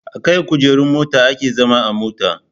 Akan kujerun mota ake zama a mota